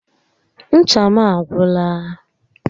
Ncha m agwụla